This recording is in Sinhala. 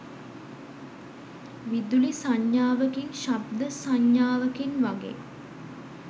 විදුලි සංඥාවකින් ශබ්ද සංඥාවකින් වගේ